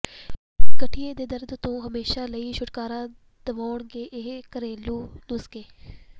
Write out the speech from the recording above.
ਗਠੀਏ ਦੇ ਦਰਦ ਤੋਂ ਹਮੇਸ਼ਾ ਲਈ ਛੁਟਕਾਰਾ ਦਿਵਾਉਣਗੇ ਇਹ ਘਰੇਲੂ ਨੁਸਖੇ